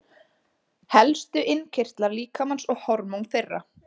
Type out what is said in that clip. Helstu innkirtlar líkamans og hormón þeirra.